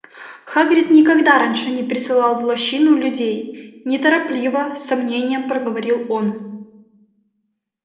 хагрид никогда раньше не присылал в лощину людей неторопливо с сомнением проговорил он